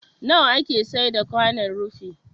Nawa ake saida kwanon rufi?